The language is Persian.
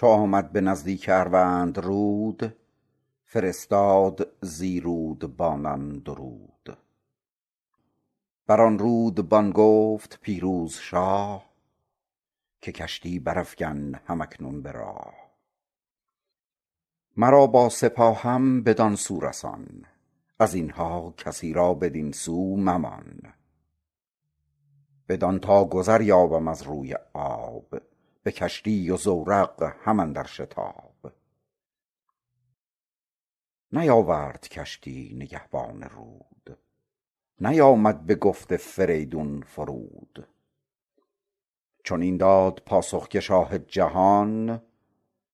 چو آمد به نزدیک اروندرود فرستاد زی رودبانان درود بران رودبان گفت پیروز شاه که کشتی برافگن هم اکنون به راه مرا با سپاهم بدان سو رسان از اینها کسی را بدین سو ممان بدان تا گذر یابم از روی آب به کشتی و زورق هم اندر شتاب نیاورد کشتی نگهبان رود نیامد بگفت فریدون فرود چنین داد پاسخ که شاه جهان